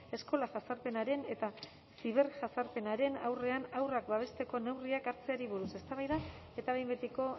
eskola jazarpenaren eta ziberjazarpenaren aurrean haurrak babesteko neurriak hartzeari buruz eztabaida eta behin betiko